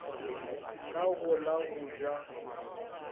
ka go la go ja